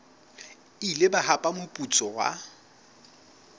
ile ba hapa moputso wa